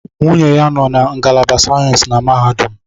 Nwunye ya nọ na ngalaba sayensi na mahadum